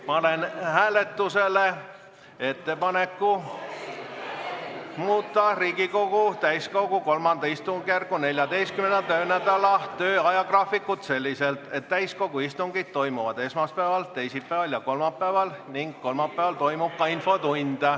Panen hääletusele ettepaneku muuta Riigikogu täiskogu III istungjärgu 14. töönädala tööajagraafikut selliselt, et täiskogu istungid toimuksid esmaspäeval, teisipäeval ja kolmapäeval ning kolmapäeval toimuks ka infotund.